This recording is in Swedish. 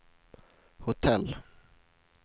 hotell